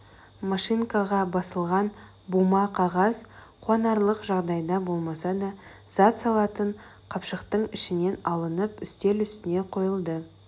машинкаға басылған бума қағаз қуанарлық жағдайда болмаса да зат салатын қапшықтың ішінен алынып үстел үстіне қойылды